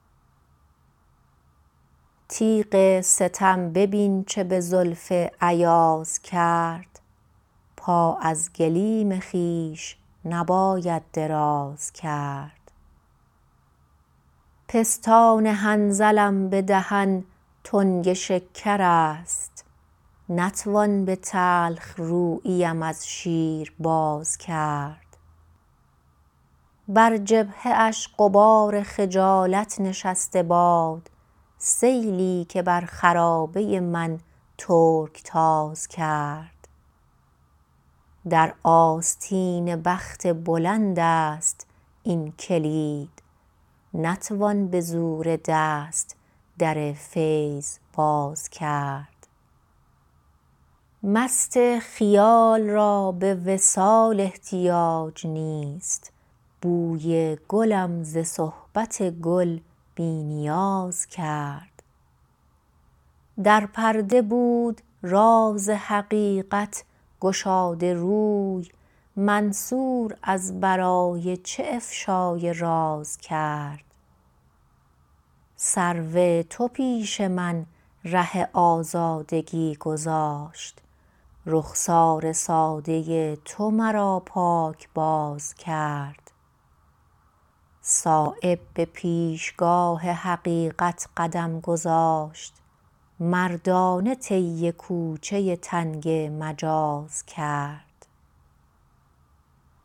تیغ ستم ببین چه به زلف ایاز کرد پا از گلیم خویش نبایددراز کرد پستان حنظلم به دهن تنگ شکرست نتوان به تلخروییم از شیر باز کرد بر جبهه اش غبار خجالت نشسته باد سیلی که بر خرابه من ترکتاز کرد در آستین بخت بلندست این کلید نتوان به زور دست در فیض باز کرد مست خیال را به وصال احتیاج نیست بوی گلم ز صحبت گل بی نیاز کرد در پرده بود راز حقیقت گشاده روی منصور از برای چه افشای راز کرد سرو تو پیش من ره آزادگی گذاشت رخسار ساده تو مرا پاکباز کرد صایب به پیشگاه حقیقت قدم گذاشت مردانه طی کوچه تنگ مجاز کرد